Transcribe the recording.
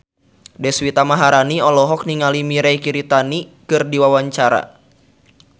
Deswita Maharani olohok ningali Mirei Kiritani keur diwawancara